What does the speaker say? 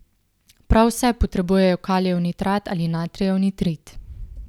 Prav vse vsebujejo kalijev nitrat ali natrijev nitrit.